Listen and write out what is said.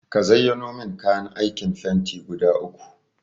Ka zayyano min kayan aikin fenti guda uku.